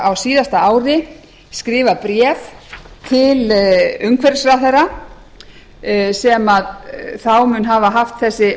á síðasta ári skrifað bréf til umhverfisráðherra sem þá mun hafa haft þessi